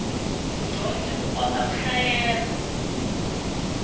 mudyondzi u kota ku hlayela